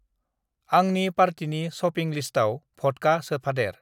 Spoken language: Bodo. आंनि पार्टिनि शपिं लिस्टाव भडका सोफादेर।